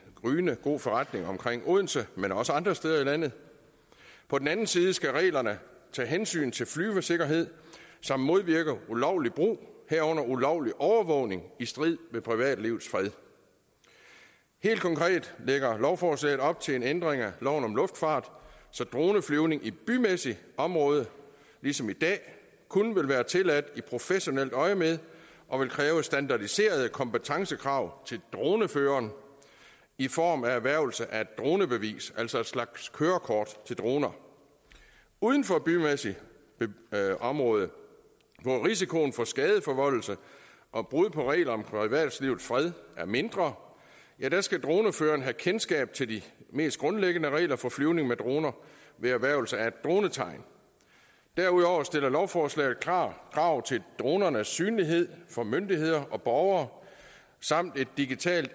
gryende god forretning omkring odense men også andre steder i landet på den anden side skal reglerne tage hensyn til flyvesikkerheden samt modvirke ulovlig brug herunder ulovlig overvågning i strid med privatlivets fred helt konkret lægger lovforslaget op til en ændring af loven om luftfart så droneflyvning i bymæssigt område ligesom i dag kun vil være tilladt i professionelt øjemed og vil kræve standardiserede kompetencekrav til droneføreren i form af erhvervelse af et dronebevis altså en slags kørekort til droner uden for bymæssigt område hvor risikoen for skadeforvoldelse og brud på regler om privatlivets fred er mindre skal droneføreren have kendskab til de mest grundlæggende regler for flyvning med droner ved erhvervelse af et dronetegn derudover stiller lovforslaget klare krav til dronernes synlighed for myndigheder og borgere samt digital